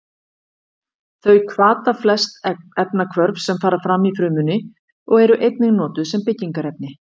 Þau hvata flest efnahvörf sem fram fara í frumunni og eru einnig notuð sem byggingarefni.